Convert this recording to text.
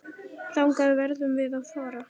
Þangað verðum við að fara.